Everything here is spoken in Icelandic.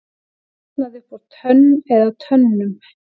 Brotnaði upp úr tönn eða tönnum